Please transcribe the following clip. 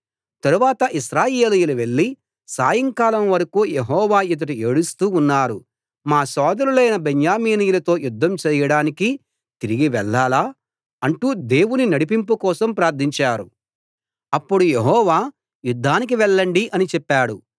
తరువాత ఇశ్రాయేలీయులు వెళ్ళి సాయంకాలం వరకూ యెహోవా ఎదుట ఏడుస్తూ ఉన్నారు మా సోదరులైన బెన్యామీనీయులతో యుద్ధం చేయడానికి తిరిగి వెళ్ళాలా అంటూ దేవుని నడిపింపు కోసం ప్రార్థించారు అప్పుడు యెహోవా యుద్ధానికి వెళ్ళండి అని చెప్పాడు